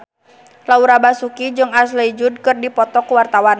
Laura Basuki jeung Ashley Judd keur dipoto ku wartawan